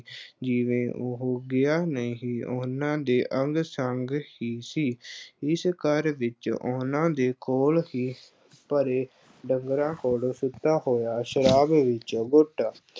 ਜਿਵੇਂ ਉਹ ਗਿਆ ਨਹੀਂ, ਉਹਨਾਂ ਦੇ ਅੰਗ-ਸੰਗ ਹੀ ਸੀ ਇਸ ਘਰ ਵਿੱਚ ਉਹਨਾਂ ਦੇ ਕੋਲ ਹੀ ਪਰ੍ਹੇ ਡੰਗਰਾਂ ਕੋਲ ਸੁੱਤਾ ਹੋਇਆ, ਸ਼ਰਾਬ ਵਿੱਚ ਗੁੱਟ